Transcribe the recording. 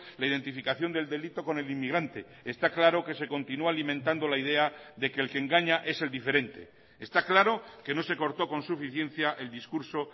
la identificación del delito con el inmigrante está claro que se continúa alimentando la idea de que el que engaña es el diferente está claro que no se cortó con suficiencia el discurso